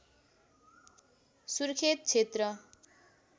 सुर्खेत क्षेत्र